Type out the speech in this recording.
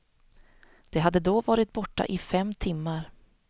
De hade då varit borta i fem timmar.